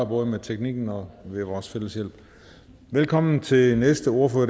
både med teknikken og med vores fælles hjælp velkommen til den næste ordfører